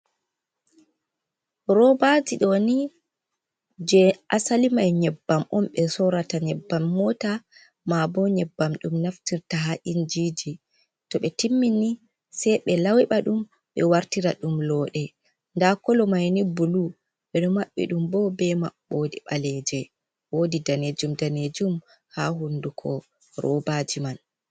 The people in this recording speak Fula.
Robaji ɗoni je asalimai nyebbam on be sorata. Nyebbam mota. Ma'a bo nyebbam ɗum naftirta ha injiji toɓe timmini sei be laiba ɗum ɓe wartira ɗum londe. Nda kala mayni bulu on. Ɓe ɗo maɓɓi ɗum bo be maɓɓode baleje. wodi danejum, danejum ha hunduko robaji man.